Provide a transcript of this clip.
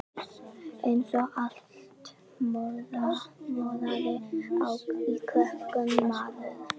Eins og allt moraði í krökkum maður.